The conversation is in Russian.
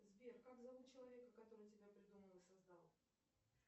сбер как зовут человека который тебя придумал и создал